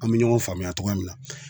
An be ɲɔgɔn faamuya togoya min na